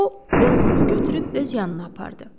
O oğlunu götürüb öz yanına apardı.